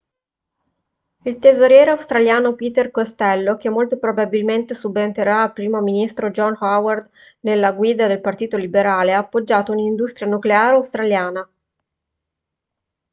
il tesoriere australiano peter costello che molto probabilmente subentrerà al primo ministro john howard nella guida del partito liberale ha appoggiato un'industria nucleare australiana